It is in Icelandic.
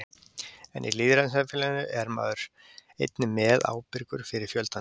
En í lýðræðissamfélaginu er hver maður einnig meðábyrgur fyrir fjöldanum.